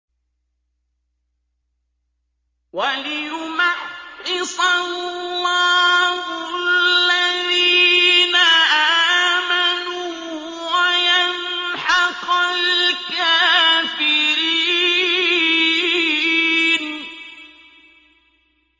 وَلِيُمَحِّصَ اللَّهُ الَّذِينَ آمَنُوا وَيَمْحَقَ الْكَافِرِينَ